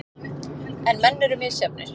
En menn eru misjafnir.